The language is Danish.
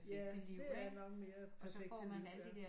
Ja det er nok mere perfekte liv ja